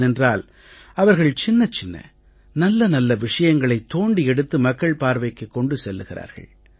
ஏனென்றால் அவர்கள் சின்னச் சின்ன நல்ல நல்ல விஷயங்களை தோண்டி எடுத்து மக்கள் பார்வைக்குக் கொண்டு செல்கிறார்கள்